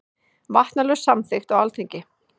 Vatnalög samþykkt á Alþingi.